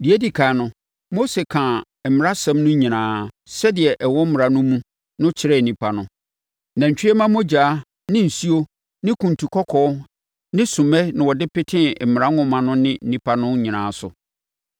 Deɛ ɛdi ɛkan no, Mose kaa mmaransɛm no nyinaa, sɛdeɛ ɛwɔ Mmara no mu no kyerɛɛ nnipa no. Nantwie mma mogya ne nsuo ne kuntu kɔkɔɔ ne sommɛ na ɔde petee Mmara nwoma no ne nnipa no nyinaa so